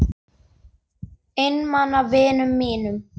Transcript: Einmana vinum mínum.